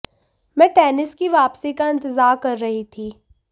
मैं टेनिस की वापसी का इंतजार कर रही थी